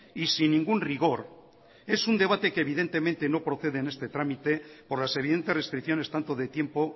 y sin ningún rigor es un debate que evidentemente no procede en este trámite por las evidentes restricciones tanto de tiempo